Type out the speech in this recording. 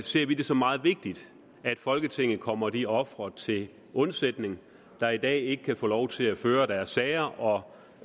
ser vi det som meget vigtigt at folketinget kommer de ofre til undsætning der i dag ikke kan få lov til at føre deres sager og